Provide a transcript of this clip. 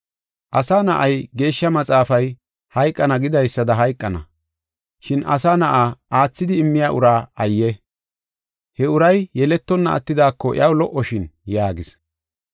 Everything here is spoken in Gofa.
Asa Na7ay, Geeshsha Maxaafay hayqana gidaysada hayqana, shin Asa Na7a, aathidi immiya ura ayye! He uray yeletonna attidaako iyaw lo77oshin” yaagis.